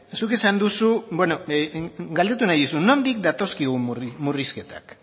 zuk esan duzu galdetu nahi dizut nondik datozkigun murrizketak